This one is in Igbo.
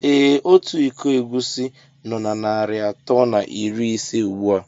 Ee Ọtu ịkọ egwusi nó na narị atọ na iri ise ugbua.